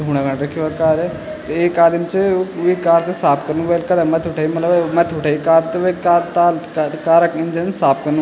धूणा खण रख्युं कार एक आदिम च वि कार थे साफ़ कनु वेळ कथा मथ्थी उठेई मलब मथ्थी उठेई कार त वेका ताल का कार इंजन साफ़ कनु।